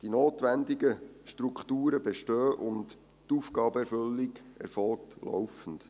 Die notwendigen Strukturen bestehen, und die Aufgabenerfüllung erfolgt laufend.